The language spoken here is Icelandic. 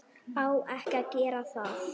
Á ekki að gera það.